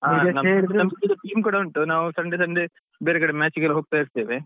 ನಮ್ದು team ಕೂಡ ಉಂಟು ನಾವ್ Sunday Sunday ಬೇರೆ ಕಡೆ match ಗೆಲ್ಲ ಹೋಗ್ತಾ ಇರ್ತೇವೆ.